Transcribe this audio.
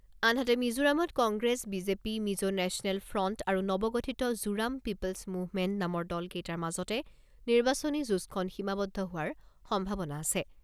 আনহাতে, মিজোৰামত Congress BJP, Mizo national front আৰু নৱগঠিত জোৰাম পিপ'লছ মুভমেণ্ট নামৰ দলকেইটাৰ মাজতে নিৰ্বাচনী যুঁজখন সীমাবদ্ধ হোৱাৰ সম্ভাৱনা আছে।